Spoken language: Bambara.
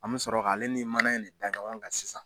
An bɛ sɔrɔ k'ale ni mana in da ɲɔgɔn kan sisan.